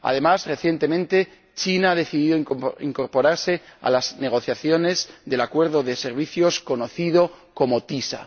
Además, recientemente, China ha decidido incorporarse a las negociaciones del Acuerdo de servicios conocido como TISA.